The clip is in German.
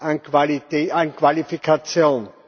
an Qualität an Qualifikation.